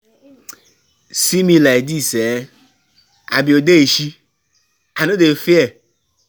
See me like dis eh, I be odeshi, I no dey fear.